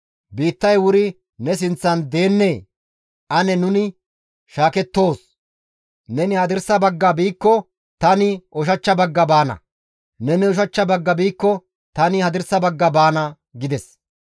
Biittay wuri ne sinththan deennee? Ane nuni shaakettoos; neni hadirsa bagga biikko, tani ushachcha bagga baana; neni ushachcha bagga biikko tani hadirsa bagga baana» gides.